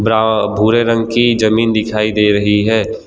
टा भूरे रंग की जमीन दिखाई दे रही है।